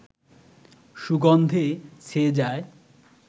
সুগন্ধে ছেয়ে যায়